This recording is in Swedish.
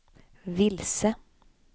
vilse